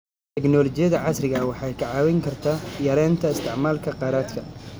Tignoolajiyada casriga ah waxay ka caawin kartaa yareynta isticmaalka kheyraadka.